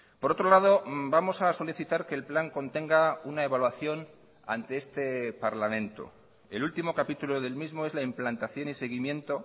por otro lado vamos a solicitar que el plan contenga una evaluación ante este parlamento el último capítulo del mismo es la implantación y seguimiento